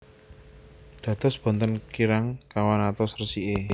Dados boten kirang kawan atus resiké